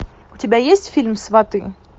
у тебя есть фильм сваты